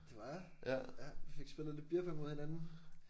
Det var jeg ja fik spillet lidt beer pong mod hinanden